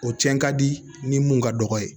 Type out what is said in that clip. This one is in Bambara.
O cɛn ka di ni mun ka dɔgɔ ye